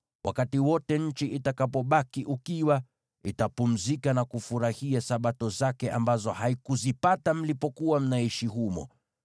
Wakati wote nchi itakapobaki ukiwa, itapumzika na kufurahia Sabato zake ambazo haikuzipata mlipokuwa mnaishi humo.